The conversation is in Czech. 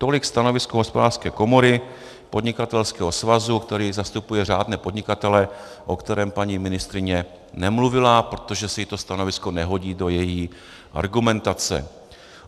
Tolik stanovisko Hospodářské komory, podnikatelského svazu, který zastupuje řádné podnikatele, o kterém paní ministryně nemluvila, protože se jí to stanovisko nehodí do její argumentace.